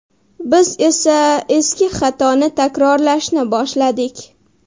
Biz esa eski xatoni takrorlashni boshladik.